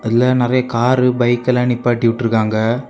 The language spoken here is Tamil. இதுல நறைய கார் பைக்கெல்லாம் நிப்பாட்டி விட்டுருக்காங்க.